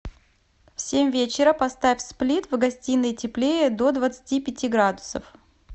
в семь вечера поставь сплит в гостиной теплее до двадцати пяти градусов